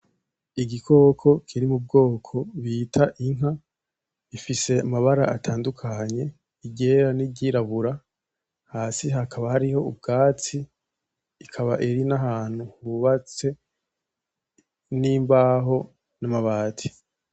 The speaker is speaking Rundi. Igikoko kiri mu bwoko bita inka, gifise amabara atandukanye iryera niry'irabura, hasi hakaba hariho ubwatsi, ikaba iri n'ahantu hubatse n'imbaho n'amabati.